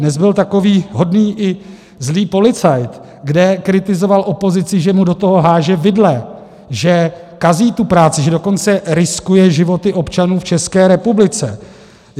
Dnes byl takový hodný i zlý policajt, kde kritizoval opozici, že mu do toho háže vidle, že kazí tu práci, že dokonce riskuje životy občanů v České republice.